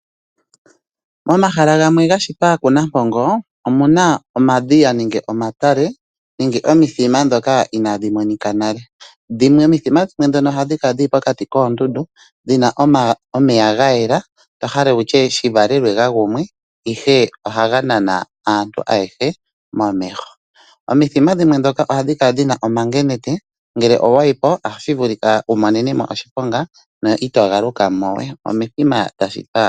Momahala gamwe ga shitwa kuNampongo omu na omadhiya nenge omatale nenge omithima ndhoka inaadhi monika nale. Omithima dhimwe ndhono ohadhi kala dhi li pokati koondundu haga kala ga yela to hala wu tye shi valelwe ga gumwe, ihe ohaga nana aantu ayehe momeho. Omithima ndhoka ohadhi kala dhi na omangenete, ngele owa yi po otashi vulika wu monene mo oshiponga no ito galuka mo we.